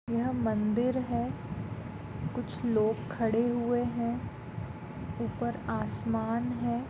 यह मंदिर है कुछ लोग खड़े हुए है आसमान है।